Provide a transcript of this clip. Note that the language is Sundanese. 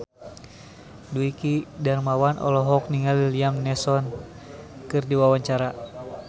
Dwiki Darmawan olohok ningali Liam Neeson keur diwawancara